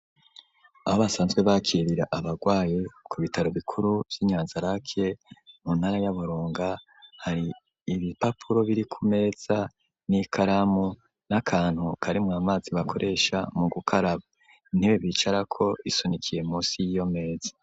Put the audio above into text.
Aho basanzwe, bakirira abagwaye, ku bitaro bikuru vy'i Nyanzarake, mu ntara ya Burunga, hari ibipapuro, biri ku meza, n'ikaramu, n'akantu karimwo amazi, bakoresha mu gukaraba; intebe bicarako, isunikiye, munsi y'iyo meza.